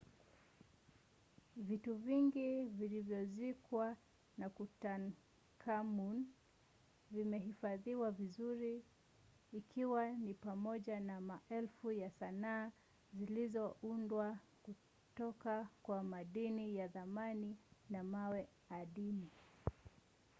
vitu vingi vilivyozikwa na tutankhamun vimehifadhiwa vizuri ikiwa ni pamoja na maelfu ya sanaa zilizoundwa kutoka kwa madini ya thamani na mawe adimu